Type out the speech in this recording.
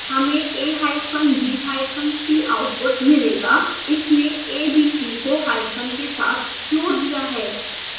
हमें a hyphen b hyphen c output मिलेगा इसने a b c को hyphen के साथ जोड़ दिया है